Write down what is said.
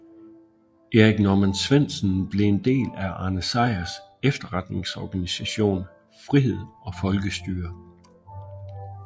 Erik Norman Svendsen blev en del af Arne Sejrs efterretningsorganisation Frihed og Folkestyre